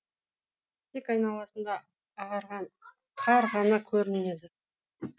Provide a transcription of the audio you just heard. тек айналасында ағарған қар ғана көрінеді